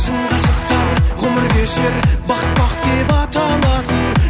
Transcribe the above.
шын ғашықтар ғұмыр кешер бақыт бақ деп аталатын